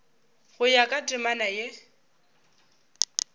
go ya ka temana ye